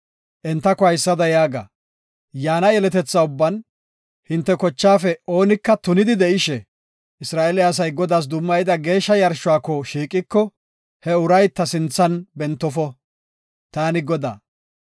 Entako haysada yaaga; “Yaana yeletetha ubban hinte kochaafe oonika tunidi de7ishe, Isra7eele asay Godaas dummayida geeshsha yarshuwako shiiqiko, he uray ta sinthan bentofo. Taani Godaa.